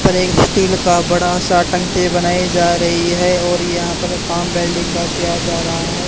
पर एक स्टील का बड़ा सा टंकी बनाए जा रही है और यहां पर काम वेल्डिंग का किया जा रहा है।